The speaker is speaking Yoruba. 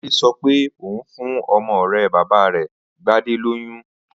Adé so̩ pé òun fún o̩mo̩ ò̩ré̩ bàbá rè̩ Gbadé lóyún